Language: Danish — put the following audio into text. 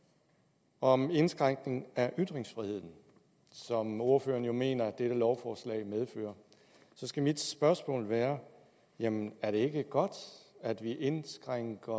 om vedrører den indskrænkning af ytringsfriheden som ordføreren jo mener at dette lovforslag medfører så skal mit spørgsmål være jamen er det ikke godt at vi indskrænker